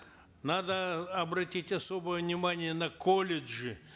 надо обратить особое внимание на колледжи